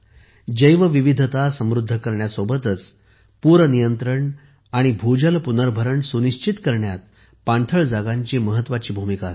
जैवविविधता समृद्ध करण्यासोबतच पूरनियंत्रण आणि भूजल पुनर्भरण सुनिश्चित करण्यात पाणथळ जागांची महत्वाची भूमिका असते